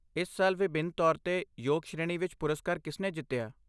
ਇਸ ਸਾਲ ਵਿਭਿੰਨ ਤੌਰ 'ਤੇ ਯੋਗ ਸ਼੍ਰੇਣੀ ਵਿੱਚ ਪੁਰਸਕਾਰ ਕਿਸਨੇ ਜਿੱਤਿਆ?